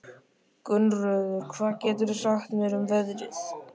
Gunnröður, hvað geturðu sagt mér um veðrið?